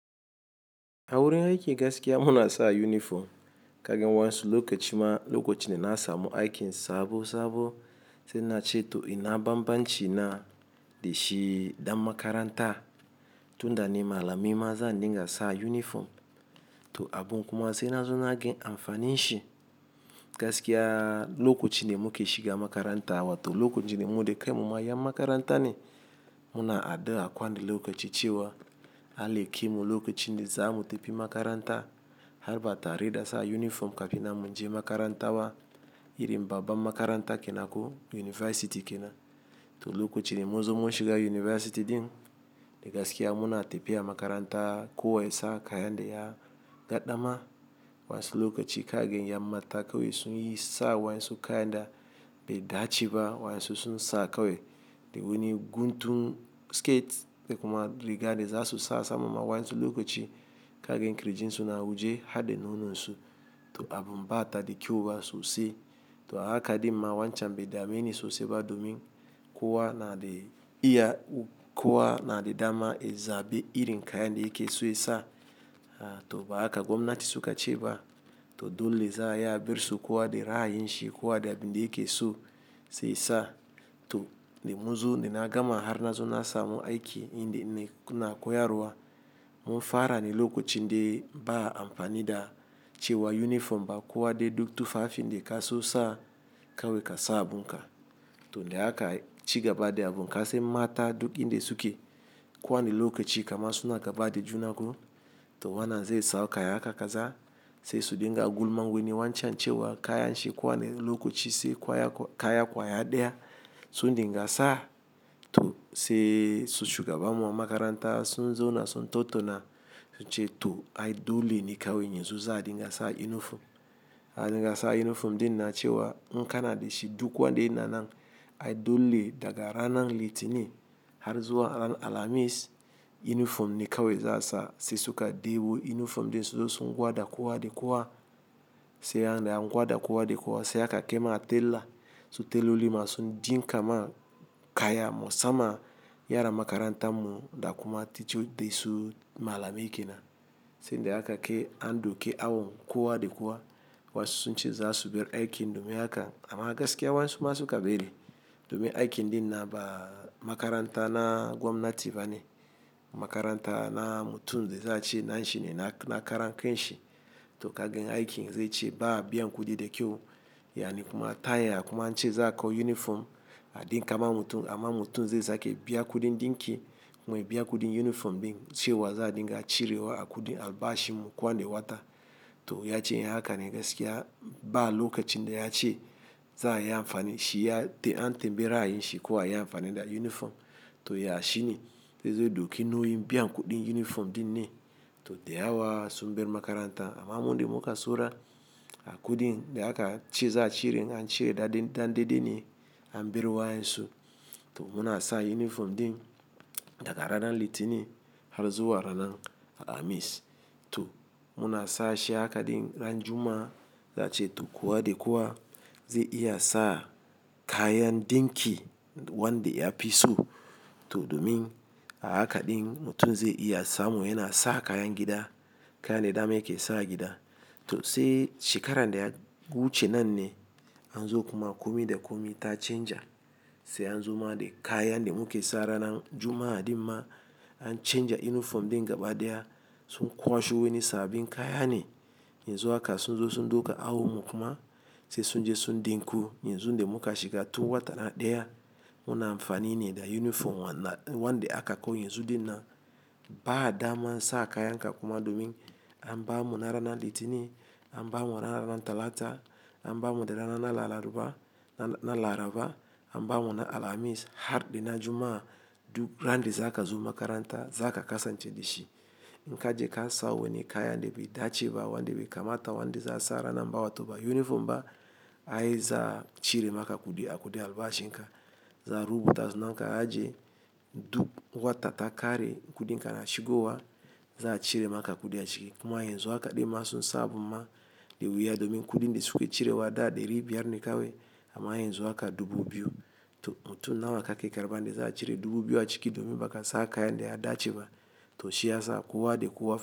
A wurin aiki gaskiya muna sa uniform kagin wansu lokacin da na samu aikin sabo sabo sai na ce to ina bambanci na da shi dan makaranta. Tunda ni malami ma zan dinga sa uniform to abun kuma sai na zo naga amfanin shi. Gaskiya lokacin da muke shiga makaranta wa to lokacin da mu da kanmu ma yan makaranta ne muna addua kowane lokaci cewa allah kaimo lokacin da za mu tafi makaranta har batare da sa uniform kafin nan mun je makaranta ba. Irin babbar makaranta kenako university kenan. To lokacin da muzo mun shiga university din da gaskiya muna tafiya makaranta kuwa yasa kayan da ya gaɗa ma wansu lokaci kaga yan mata kawai sun yi sa wansu kayan da bai dace ba wansu sun sa kawai. Da wuni guntun skate da kuma riga de za su sa saman wayan su lokaci kagan kirjin su na waje har da nono su to abun bata da kyau ba sosai. To a haka dimma wancan bai dame ni sosai ba domin kuwa na da iya kuwa na da dama in zaɓi irin kayan da ake so in sa to ba haka gwamnati suka ce ba. To dole za a yi aber su kowa da ra'a yin shi kowa da abin da yake so sai sa to da munzo da na gama har na zo na samu aikin ina na koyarwa mun fara ne lokacin de ba amfanin da cewa uniform ba kuwa dai duk tufafi da kaso sa kawai ka sa abun ka. To da haka cigaba da abun kasan mata duk inda suke ko wanne lokaci kaman suna gaba da junan su to wannan zai sa kaya haka kaza sai su dinga gulma wani wancan cewa kayan shi ko wanne lokaci sai kaya kwaya ɗaya sun dinga sa to sai su shugabanin makaranta sun zo na sun tattauna sun ce to ai dole ne kawai yanzu za a dinga sa uniform. A dinga sa uniform din na cewa in ka na da shi duk kuwa daya ne nan ai dole daga ranan litinin har zuwa ran alhamis uniform ne kawai za a sa sai suka ɗibo uniform din su da sun gwada kowa da kowa sai an da ya gwada kowa da kowa sai aka kai ma tella su telloli ma sun din kama kayan musamman yara makaranta mu da kuma teacthers dinsu malamai kenan. Tun da a kai an doki awon kowa da kowa wa su sun ce za su bar aikin domin haka amma gaskiya wa'ansu ma suka bari domin aikin din na ba makaranta na gwamnati ba ne makaranta na mutum da za a ce na shi ne na karan kanshi to kagann aikin zai ce ba biyan kudi da kyau. Ya ni kuma taya ya kuma an ce za a kawo uniform a dinka ma mutum amma mutum zai sake biya kudin din ki kuma ya biya kudin uniform din cewa za a dinga cirewa a kudi albashi mu kowanne wata. To ya ce haka ne gaskiya ba lokacin da ya ce za a yi amfani shi ya an tambaye ra'ayin shi ko a yi amfani da uniform to ya shi ne. Sai zai dauki nauyin biyan kudin uniform din ne to da yawa sun bar makaranta amma mu dai mukai so ra a kudin da haka ciza a cire an cire da dande dai ne an biya wa yanzu. To muna sa uniform din daga ranan litinin har zuwa ranan alhamis to muna sa shi haka din ran juma'a za a ce to kuwa da kuwa zai iya sa kayan dinki wanda ya fi so to domin a haka din mutum zai iya samu yana sa kayan gida kayan da dama yake sa gida. To sai shekarar da ya wuce nan ne an zo kuma komi da komi ta canja sai an zo ma da kayan da muke sa ranan juma'a dinnan an canja uniform din gaba ɗaya sun kwashe wani saɓin kaya ne. Yanzu haka sun zo sun duka awo mu kuma sai sun je sun ɗinko yanzu da muka shiga tun wata ɗaya muna amfani ne da uniform wannan wanda aka kawo yanzu dai na ba daman sa kayan ka kuma domin an ba mu na ranan litinin an ba mu na ranan talata an ba mu na ranan laraba an ba mu na alhamis har da na juma'a duk ran da za ka zo makaranta za ka kasan ce da shi. In ka je ka sa wani kaya da bai dace ba wanda bai kamata wanda za a sa ranan baya to ba uniform ba ai za a cire maka kudi a kudi albashin ka. Za a rubuta sunan ka a je duk wata takare kudin ka na shigowa za a cire maka kudi a ciki kuma yanzu haka dai ma sun sa abin ma da wuya domin kudin da suke cire wa ɗaya da biyar ne kawai amma yanzu haka dubu biyu to mutum nawa haka ke karɓan da za a cire dubu biyu a ciki domin bakasa kayan da ya dace ba to shi ya sa kowa da kowa fa.